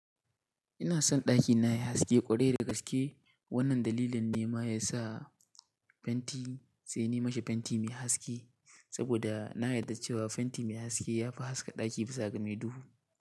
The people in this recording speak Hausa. Ina son ɗakina yayi haske ƙwarai da gaske. Wannan dalilin ne ma ya sa fenti sai ni mishi fenti mai haske. Saboda na yarda cewa fenti mai haske ya fi haska ɗaki bisa ga mai duhu.